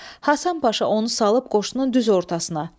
Hasan Paşa onu salıb qoşunun düz ortasına.